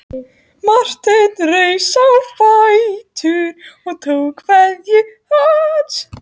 Marteinn reis á fætur og tók kveðju hans.